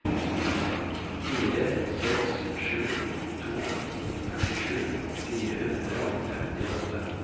fire seks sju to førtisju fire hundre og femtiåtte